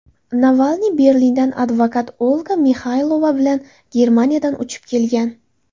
Navalniy Berlindan advokat Olga Mixaylova bilan Germaniyadan uchib kelgan.